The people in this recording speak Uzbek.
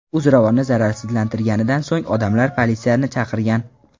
U zo‘ravonni zararsizlantirganidan so‘ng odamlar politsiyani chaqirgan.